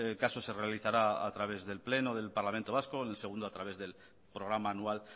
caso se realizará a través del pleno del parlamento vasco el segundo a través del programa anual